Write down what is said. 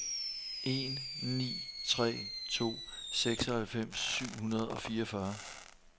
en ni tre to seksoghalvfems syv hundrede og fireogfyrre